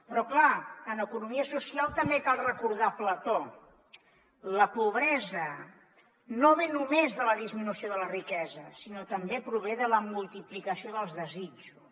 però clar en economia social també cal recordar plató la pobresa no ve només de la disminució de la riquesa sinó que també prové de la multiplicació dels desitjos